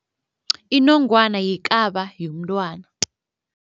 Inongwana yikaba yomntwana.